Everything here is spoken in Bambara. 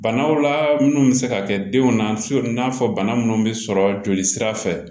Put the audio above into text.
Banaw la minnu bɛ se ka kɛ denw na n'a fɔ bana minnu bɛ sɔrɔ joli sira fɛ